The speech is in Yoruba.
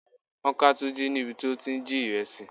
Wọ́n ká Tunji níbi tí ó ti ń jí ìrẹsì.